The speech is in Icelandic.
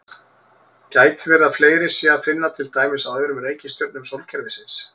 Gæti verið að fleiri sé að finna til dæmis á öðrum reikistjörnum sólkerfisins?